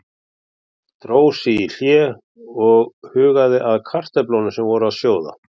Dró sig í hlé og hugaði að kartöflunum sem voru að sjóða.